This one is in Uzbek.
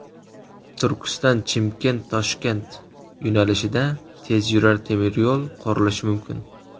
Turkiston–Chimkent–Toshkent yo‘nalishida tezyurar temiryo‘l qurilishi mumkin.